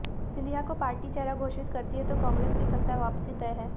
सिंधिया को पार्टी चेहरा घोषित करती है तो कांग्रेस की सत्ता वापसी तय है